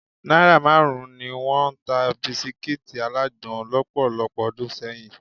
Náírà márùn-ún ni wọ́n ń ta bisikí alágbòn lọ́pọ̀lọpọ̀ ọdún sẹ́yìn